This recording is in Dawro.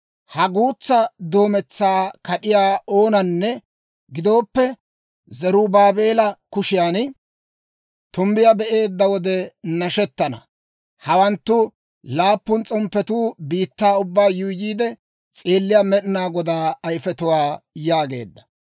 Ha guutsaa doometsaa kad'iyaa oonanne gidooppe Zarubaabeela kushiyan tumbbiyaa be'eedda wode nashettana; Hawanttu laappun s'omppetuu biittaa ubbaa yuuyyiide s'eelliyaa Med'inaa Godaa ayifetuwaa» yaageedda.